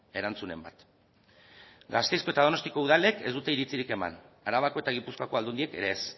erantzunen bat gasteizko eta donostiako udalek ez dute iritzirik eman arabako eta gipuzkoako aldundiek ere ez